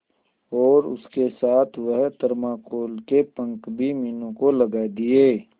और उसके साथ वह थर्माकोल के पंख भी मीनू को लगा दिए